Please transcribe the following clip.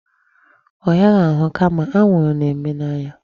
Ọ hịaghị ahụ kama anwụrụ na-eme n'anya.